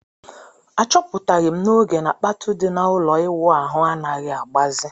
A chọpụtaghi m n'oge na kpatụ di na ụlọ ịwụ ahụ anaghị agbazi